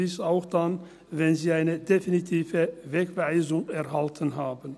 Dies auch dann, wenn sie eine definitive Wegweisung erhalten haben.